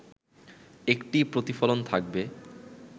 একটি প্রতিফলন থাকবে